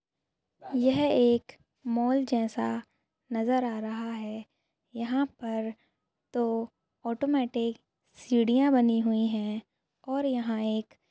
यह एक मॉल जैसा नजर आ रहा है यहाँ पर तो ऑटोमेटिक सीढ़ियाँ बनी हुई है और यहाँ एक --